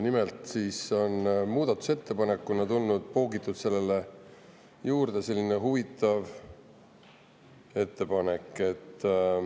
Nimelt on muudatusettepanekuna poogitud selle juurde selline huvitav ettepanek.